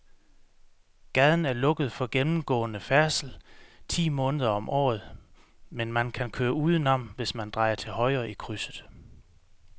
Gaden er lukket for gennemgående færdsel ti måneder om året, men man kan køre udenom, hvis man drejer til højre i krydset.